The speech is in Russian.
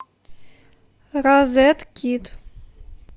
розеткид